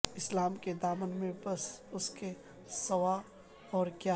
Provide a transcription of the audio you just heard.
اسلام کے دامن میں بس اس کے سوا اور کیا ہے